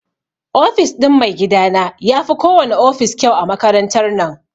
Ofis ɗin maigidana yafi ko wana ofis kyau a makarantar nan.